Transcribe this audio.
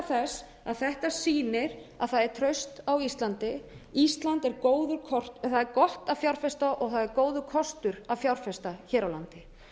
þess að þetta sýnir að það er traust á íslandi það er gott að fjárfesta og það er góður kostur að fjárfesta hér á landi